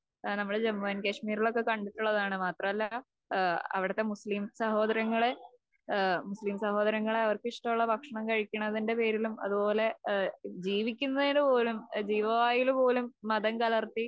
ഏഹ് നമ്മള് ജമ്മു ആൻഡ് കാശ്മീരിലൊക്കെ കണ്ടിട്ടുള്ളതാണ്. മാത്രമല്ല അവിടത്തെ മുസ്ലിം സഹോദരങ്ങളെ ഏഹ് മുസ്ലിം സഹോദരങ്ങളെ അവർക്കിഷ്ടമുള്ള ഭക്ഷണം കഴിക്കുന്നതിന്റെ പേരിലും അതുപോലെ ഏഹ് ജീവിക്കുന്നതിനുപോലും ജീവവായുവിലുപോലും മതം കലർത്തി